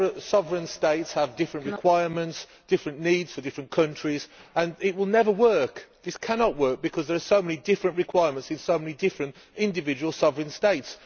Sovereign states have different requirements, different needs for different countries, and it will never work. This cannot work, because there are so many different requirements in so many different individual sovereign states.